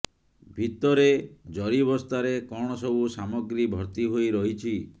ଭିତରେ ଜରିବସ୍ତାରେ କଣ ସବୁ ସାମଗ୍ରୀ ଭର୍ତ୍ତି ହୋଇ ରହିଛି